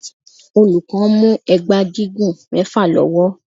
Olùkọ́ mú ẹgba gígùn mẹfa lọ́wọ́.